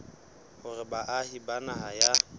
hore baahi ba naha ya